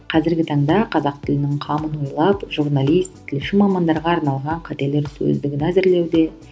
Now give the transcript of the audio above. қазіргі таңда қазақ тілінің қамын ойлап журналист тілші мамандарға арналған қателер сөздігін әзірлеуде